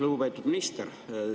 Lugupeetud minister!